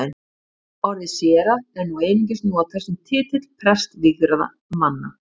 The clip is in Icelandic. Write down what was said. Orðið séra er nú einungis notað sem titill prestvígðra manna.